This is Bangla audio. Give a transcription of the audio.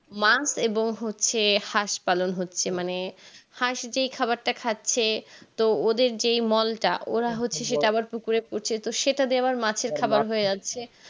মা এবং হচ্ছে হাঁস পালন হচ্ছে মানে হাঁস যে খাবারটা খাচ্ছে তো ওদের যেই মলটা ওরা হচ্ছে সেটা আবার পুকুরে পচে তো সেটা দিয়ে আবার মাছের হয়ে যাচ্ছে